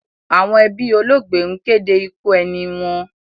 Àwọn ẹbí olóògbé ń kéde ikú ẹni wọn.